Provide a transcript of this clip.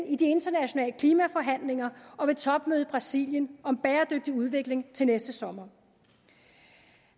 i de internationale klimaforhandlinger og ved topmødet i brasilien om bæredygtig udvikling til næste sommer